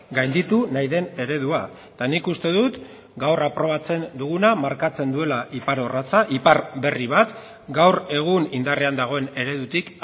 gainditu nahi den eredua eta nik uste dut gaur aprobatzen duguna markatzen duela ipar orratza ipar berri bat gaur egun indarrean dagoen eredutik